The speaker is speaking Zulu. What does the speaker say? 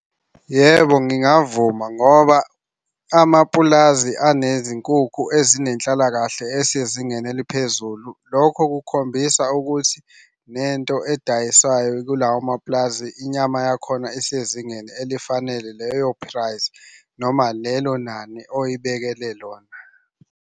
Yebo, ngingavuma ngoba amapulazi anezinkukhu ezinenhlalakahle esezingeni eliphezulu. Lokho kukhombisa ukuthi nento edayiswayo kulawo mapulazi inyama yakhona isezingeni elifanele leyo price noma lelo nani oyibekele lona.